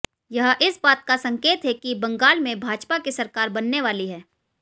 यह इस बात का संकेत है कि बंगाल में भाजपा की सरकार बनने वाली है